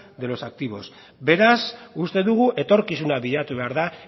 de los activos beraz uste dugu etorkizuna bilatu behar da